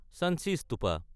Sanchi stupa